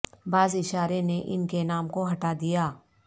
بعض اشارے نے ان کے نام کو ہٹا دیا